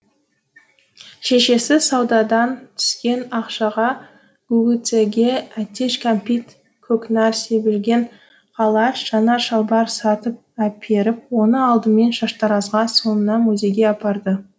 шешесі саудадан түскен ақшаға гугуцэге әтеш кәмпит көкнәр себілген қалаш жаңа шалбар сатып әперіп оны алдымен шаштаразға соңынан музейге апарды